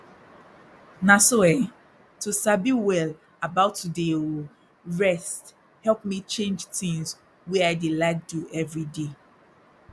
na so eh to sabi well about to dey ooohh rest help me change tins wey i dey like do everyday